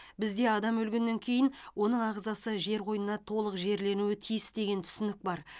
бізде адам өлгеннен кейін оның ағзасы жер қойнына толық жерленуі тиіс деген түсінік бар